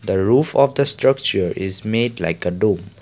the roof of the structure is made like a do.